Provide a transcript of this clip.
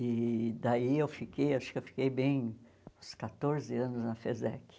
E daí eu fiquei, acho que eu fiquei bem uns quatorze anos na FESEC.